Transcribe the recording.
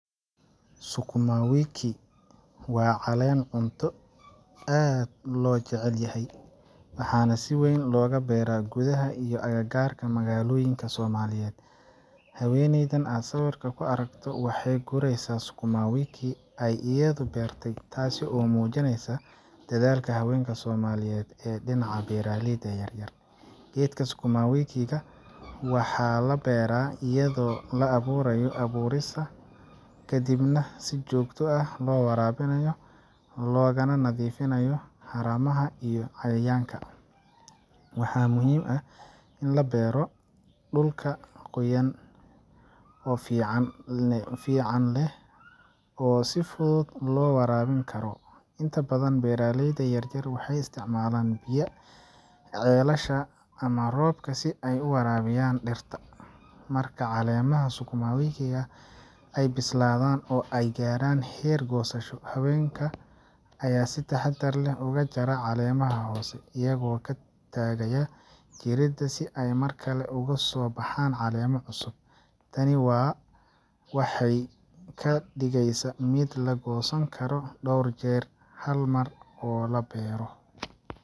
sukuma wiki waa acleen cunto aad loo jecel yahayah waxaa nah siweyn looga beera gudaha iyo agagaarka malgaloyinka somaliyeed, haweneeydan aad sawirka kuaragto waxay gureesa sukuma wiki ay iyadu beertay taasi oo mujineysa dhadaalka haweenka somaliyeed ee dhinaca beeraleyda yar yar Geedka sukuma wiki ga waxaa la beeraa iyadoo la abuurayo abuurkiisa, kadibna si joogto ah loo waraabiyo, loogana nadiifiyo haramaha iyo cayayaanka. Waxaa muhiim ah in laga beero dhul oo qoyaan fiican leh oo si fudud loo waraabin karo. Inta badan beeraleyda yaryar waxay isticmaalaan biyaha ceelasha ama roobka si ay u waraabiyaan dhirtan. Marka caleemaha sukuma wiki ay bislaadaan oo ay gaaraan heer goosasho, haweenka ayaa si taxaddar leh uga jara caleemaha hoose, iyagoo ka tagaya jirida si ay mar kale uga soo baxaan caleemo cusub. Tani waxay ka dhigeysaa mid la goosan karo dhowr jeer hal mar oo la beero.